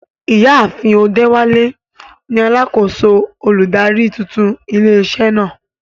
Ìyá àfin Odewale ni alákòóso olùdarí tuntun ilé iṣẹ́ náà.